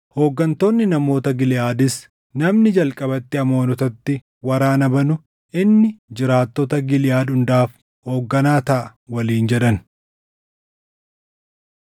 Hooggantoonni namoota Giliʼaadis, “Namni jalqabatti Amoonotatti waraana banu inni jiraattota Giliʼaad hundaaf hoogganaa taʼa” waliin jedhan.